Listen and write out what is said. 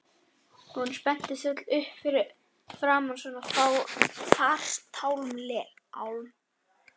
Hún spenntist öll upp fyrir framan svona farartálma.